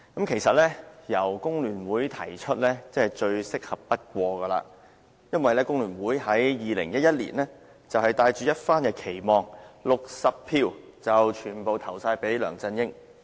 其實，由工聯會提出真是最適合不過，因為工聯會於2011年帶着一番期望 ，60 票全部投給梁振英。